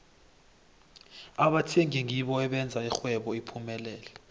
abathengi ngibo abenza ixhwebo liphumelele